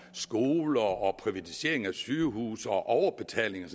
skoler om privatisering af sygehuse og overbetaling og